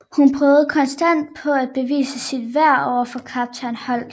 Hun prøver konstant på at bevise sit værd overfor Kaptajn Holt